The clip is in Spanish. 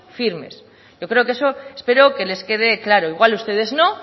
firmes yo creo que eso espero que les quede claro igual ustedes no